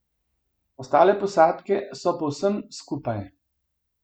Ostale posadke so povsem skupaj.